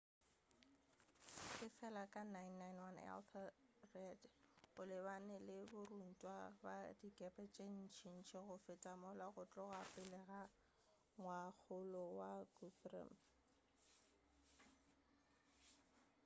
efela ka 991 ethelred o lebane le borantwa ba dikepe tše ntšintši go feta mola go tloga pele ga ngwakgolo wa guthrum